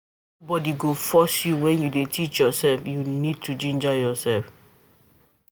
Nobody go force you when you dey teach yourself, you need to ginger yourself